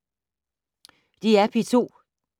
DR P2